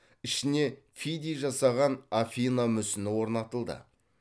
ішіне фидий жасаған афина мүсіні орнатылды